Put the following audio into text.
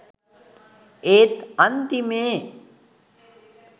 ඒත් අන්තිමේ